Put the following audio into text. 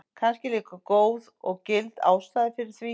Kannski er líka góð og gild ástæða fyrir því.